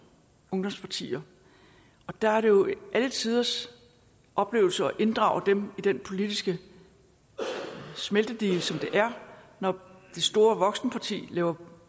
ungdomspartier og der er det jo alle tiders oplevelse at inddrage dem i den politiske smeltedigel som det er når det store voksenparti laver